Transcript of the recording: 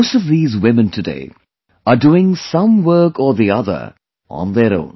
Most of these women today are doing some work or the other on their own